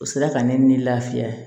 O sera ka ne ni lafiya